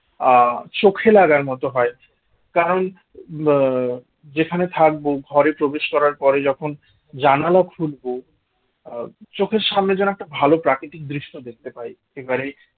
আহ চোখে লাগার মত হয় কারণ আহ যেখানে থাকবো ঘরে প্রবেশ করার পরে যখন জানালা খুলবো আহ চোখের সামনে যেন একটা ভালো প্রাকৃতিক দৃশ্য দেখতে পাই এবারে